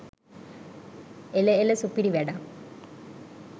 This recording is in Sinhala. එළ එළ සුපිරි වැඩක්